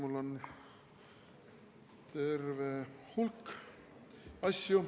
Mul on terve hulk asju.